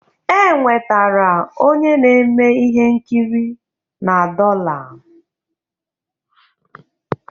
E nwetara onye na-eme ihe nkiri na dollar